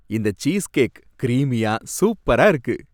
இந்த சீஸ்கேக் கிரீமியா, சூப்பரா இருக்கு.